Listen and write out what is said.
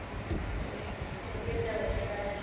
ok ਚਲੋ ਫੇਰ ਤਾਂ ਵਧੀਆ ਗੱਲ e ਜੀ ਬਹੁਤ ਵਧੀਆ